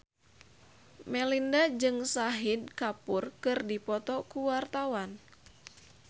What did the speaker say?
Melinda jeung Shahid Kapoor keur dipoto ku wartawan